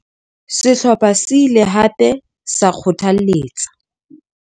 Sehlopha se ile hape sa kgothalletsa.